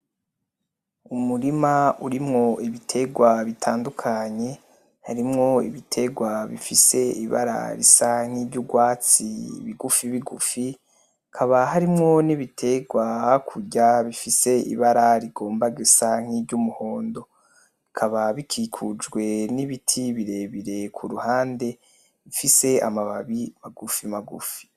Umurima urimwo ibitegwa bitandukanye, harimwo ibitegwa bifise ibara risa nk'iry'uryatsi bigufibigufi, hakaba harimwo n'ibitegwa hakurya bifise ibara rigomba gusa nk'iry'umuhondo, bikaba bikikujwe n'ibiti birebire ku ruhande, bifise amababi magufimagufi